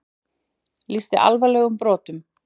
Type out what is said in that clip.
Lýsti alvarlegum brotum